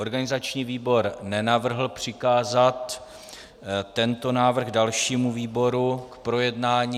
Organizační výbor nenavrhl přikázat tento návrh dalšímu výboru k projednání.